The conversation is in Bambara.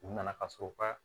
U nana ka sɔrɔ u ka